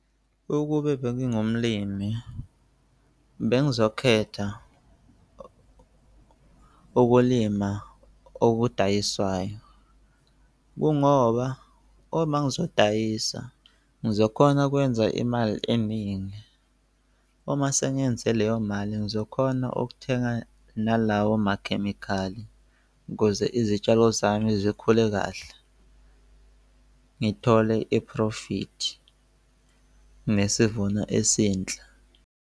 Ukube bengingumlimi bengizokhetha ukulima okudayiswayo. Kungoba uma ngizodayiselwa ngizokhona ukwenza imali eningi, uma sengenze leyo mali ngizokhona okuthenga nalawo makhemikhali ukuze izitshalo zami zikhule kahle. Ngithole i-profit nesivuno esinhle.